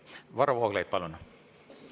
Varro Vooglaid, palun!